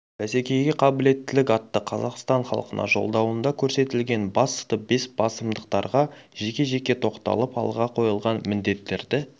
бәсекеге қабілеттілік атты қазақстан халқына жолдауында көрсетілген басты бес басымдықтарға жеке-жеке тоқталып алға қойылған міндеттерді